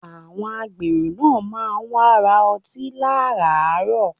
Àwọn agbèrò náà má wá ń ra ọtí láràárọ̀